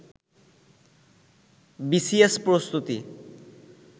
BCS প্রস্তুতি